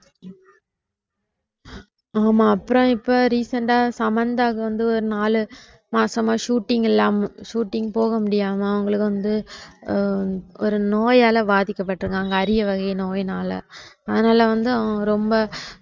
ஆமா அப்புறம் இப்ப recent ஆ சமந்தாவுக்கு வந்து ஒரு நாலு மாசமா shooting இல்லாம shooting போக முடியாம அவங்களுக்கு வந்து ஆஹ் ஒரு நோயால பாதிக்கப்படிருக்காங்க அரிய வகை நோயினால அதுனால வந்து அவங்க ரொம்ப